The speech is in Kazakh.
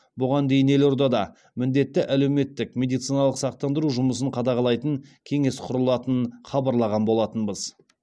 бұған дейін елордада міндетті әлеуметтік медициналық сақтандыру жұмысын қадағалайтын кеңес құрылатынын хабарлаған болатынбыз